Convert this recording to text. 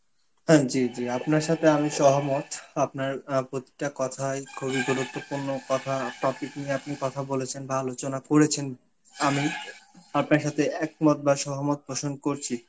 হ্যাঁ জি জি আপনার সাথে আমি সহমত. আপনার আ প্রতিটা কথাই খুব গুরুত্বপূর্ণ কথা~ topic নিয়ে আপনি কথা বলেছেন বা আলচনা করেছেন, আমি আপনার সাথে একমত বা সহমত প্রসন করছি.